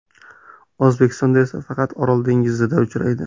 O‘zbekistonda esa faqat Orol dengizida uchraydi.